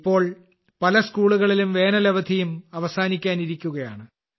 ഇപ്പോൾ പല സ്കൂളുകളിലും വേനൽ അവധിയും അവസാനിക്കാനിരിക്കുകയാണ്